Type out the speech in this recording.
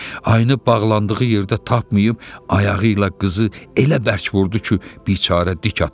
ayını bağlandığı yerdə tapmayıb ayağı ilə qızı elə bərk vurdu ki, biçarə dik atıldı.